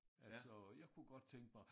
Altså jeg kunne godt tænke mig